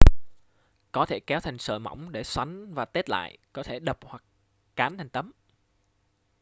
có thể kéo thành sợi mỏng để xoắn và tết lại có thể đập hoặc cán thành tấm